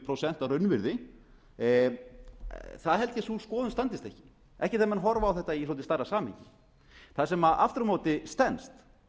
prósent að raunvirði það held ég að sú skoðun standist ekki ekki þegar menn horfa á þetta í svolítið stærra samhengi það sem aftur á móti stenst